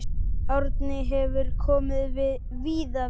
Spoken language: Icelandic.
Árni hefur komið víða við.